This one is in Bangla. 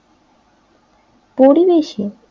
পরিবেশে